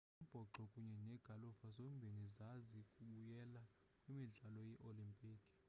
umbhoxo kunye negalufa zombini ziza kubuyela kwimidlalo yee-olimpiki